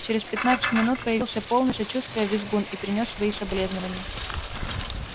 через пятнадцать минут появился полный сочувствия визгун и принёс свои соболезнования